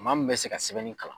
Maa min bɛ se ka sɛbɛnni kalan.